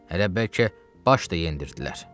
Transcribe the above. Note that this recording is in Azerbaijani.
Hələ bəlkə baş da yendirdilər.